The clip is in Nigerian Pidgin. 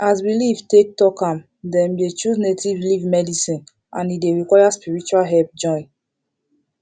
as belief take talk am dem dey choose native leaf medicine and e dey require spiritual help join